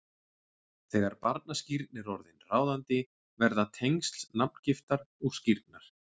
Þegar barnaskírn er orðin ráðandi verða tengsl nafngiftar og skírnar